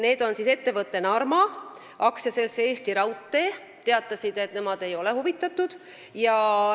Ettevõte Narma ja AS Eesti Raudtee teatasid, et nemad ei ole huvitatud.